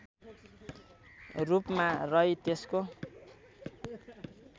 रूपमा रही त्यसको